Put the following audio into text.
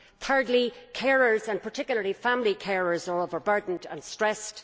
Thirdly, carers, and particularly family carers, are overburdened and stressed.